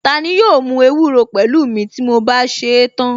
Tani yóò mú ewúro pẹ̀lú mi ti mo bá sèé tán?